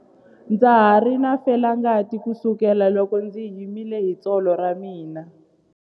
Ndza ha ri na felangati kusukela loko ndzi himile hi tsolo ra mina.